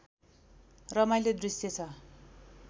रमाइलो दृश्य छ